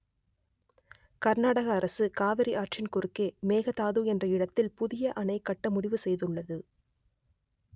கர்நாடக அரசு காவிரி ஆற்றின் குறுக்கே மேகதாது என்ற இடத்தில் புதிய அணை கட்ட முடிவு செய்துள்ளது